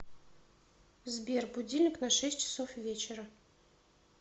сбер будильник на шесть часов вечера